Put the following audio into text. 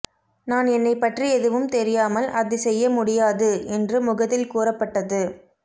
நான் என்னை பற்றி எதுவும் தெரியாமல் அதை செய்ய முடியாது என்று முகத்தில் கூறப்பட்டது